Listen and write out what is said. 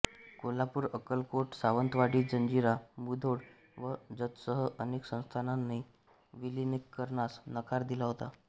कोल्हापूर अक्कलकोट सावंतवाडी जंजिरा मुधोळ व जतसह अनेक संस्थानांनी विलीनीकरणास नकार दिला होता